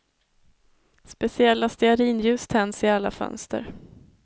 Speciella stearinljus tänds i alla fönster.